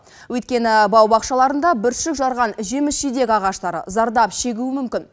өйткені бау бақшаларында бүршік жарған жеміс жидек ағаштары зардап шегуі мүмкін